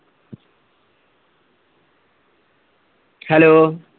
hello